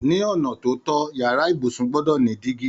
Ní ona tó tọ, yàrá ibùsùn gbọ́dọ̀ ni dígí